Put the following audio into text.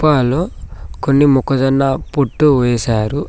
లో కొన్ని మొక్కజొన్న పొట్టు వేశారు.